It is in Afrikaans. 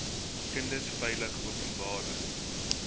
kinders veilig openbare